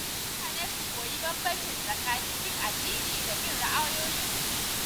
Mutane su koyi bambanci tsakanin bin addini da bin ra’ayoyin mutum.